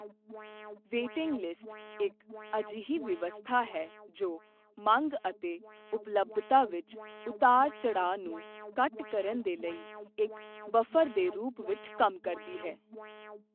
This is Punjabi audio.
ਵੇਟਿੰਗ ਲਿਸਟ ਇੱਕ ਅਜਿਹੀ ਵਿਵਸਥਾ ਹੈ ਜੋ ਮੰਗ ਅਤੇ ਉਪਲੱਬਧਤਾ ਵਿੱਚ ਉਤਰਾਅ ਚੜਾਅ ਨੂੰ ਘੱਟ ਕਰਨ ਦੇ ਲਈ ਇੱਕ ਬਫਰ ਦੇ ਰੂਪ ਵਿੱਚ ਕੰਮ ਕਰਦੀ ਹੈ।